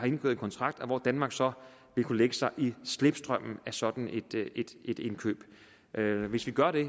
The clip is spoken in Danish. indgået kontrakt og hvor danmark så vil kunne lægge sig i slipstrømmen af sådan et indkøb hvis vi gør det